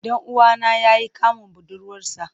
Dan uwana ya yi kamun budurwarsa.